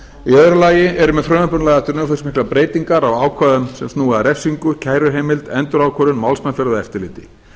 í öðru lagi eru með frumvarpinu lagðar til umfangsmiklar breytingar á ákvæðum sem snúa að refsingu kæruheimild endurákvörðun málsmeðferð og eftirliti